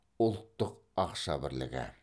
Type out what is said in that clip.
ұлттық ақша бірлігі